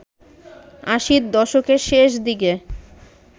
আশির দশকের শেষ দিকে